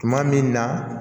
Tuma min na